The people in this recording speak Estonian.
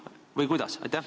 Või kuidas?